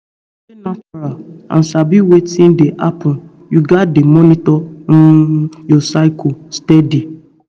to stay natural and sabi wetin dey happen you gats dey monitor um your cycle steady